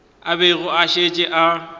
a bego a šetše a